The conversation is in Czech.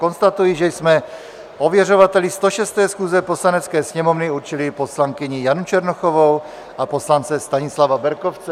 Konstatuji, že jsme ověřovateli 106. schůze Poslanecké sněmovny určili poslankyni Janu Černochovou a poslance Stanislava Berkovce.